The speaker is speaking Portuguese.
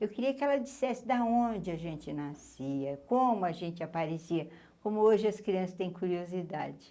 Eu queria que ela dissesse da onde a gente nascia, como a gente aparecia, como hoje as crianças têm curiosidade.